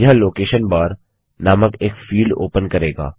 यह location bar नामक एक फील्ड ओपन करेगा